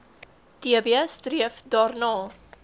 tb streef daarna